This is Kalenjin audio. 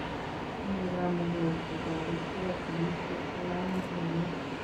Tinyei kamuget kutoritkei serisiet kalamit nilel.